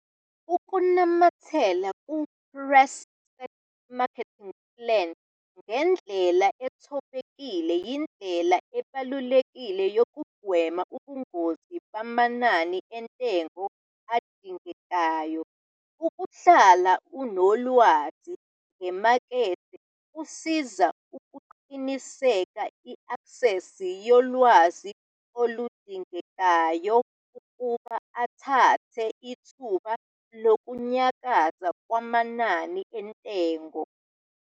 Ukunamathela ku-pre-set marketing plan ngendlela ethobekile yindlela ebalulekile yokugwema ubungozi bamanani entengo adingekayo. Ukuhlala unolwazi ngemakethe kuzosiza ukuqinisekisa i-aksesi yolwazi oludingekayo ukuba athathe ithuba lokunyakaza kwamanani entengo.